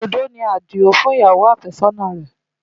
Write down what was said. Òdòdó ni Adio fún ìyàwó àfẹ́sọ́nà rẹ̀.